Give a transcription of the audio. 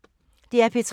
DR P3